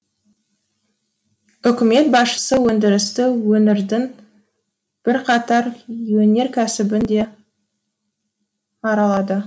үкімет басшысы өңдірісті өңірдің бірқатар өнеркәсібін де аралады